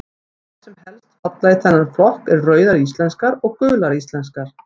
Þær sem helst falla í þennan flokk eru Rauðar íslenskar og Gular íslenskar.